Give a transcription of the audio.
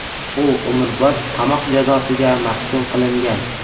U umrbod qamoq jazosiga mahkum qilingan.